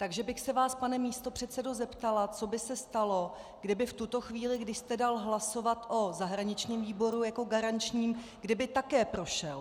Takže bych se vás, pane místopředsedo, zeptala, co by se stalo, kdyby v tuto chvíli, když jste dal hlasovat o zahraničním výboru jako garančnímu, kdyby také prošel.